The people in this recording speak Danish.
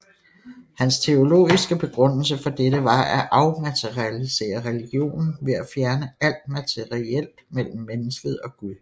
Hans teologiske begrundelse for dette var at afmaterialisere religionen ved at fjerne alt materielt mellem mennesket og Gud